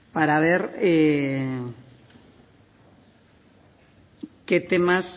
para ver qué temas